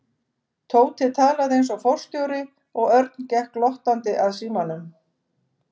Tóti talaði eins og forstjóri og Örn gekk glottandi að símanum.